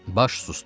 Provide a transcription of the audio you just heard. Baş susdu.